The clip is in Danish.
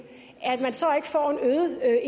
at